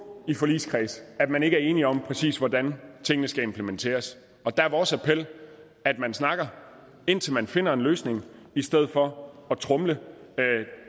i forligskredse at man ikke er enige om præcis hvordan tingene skal implementeres der er vores appel at man snakker indtil man finder en løsning i stedet for at tromle